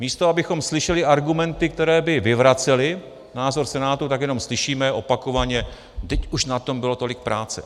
Místo abychom slyšeli argumenty, které by vyvracely názor Senátu, tak jenom slyšíme opakovaně: vždyť už na tom bylo tolik práce.